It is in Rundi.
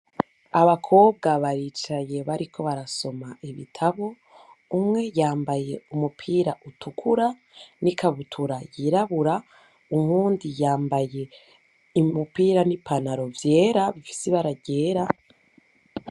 Abakobwa baricaye bariko barasoma ibitabu, umwe yambaye umupira utukura nikabutura yirabura, uyundi yambaye umupira n'ipantaro vyera bifise ibara ryera.